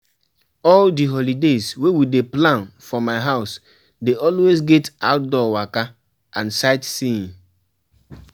All di holidays wey we dey plan for my house dey always get outdoor waka and sightseeing.